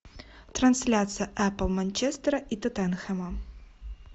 трансляция апл манчестера и тоттенхэма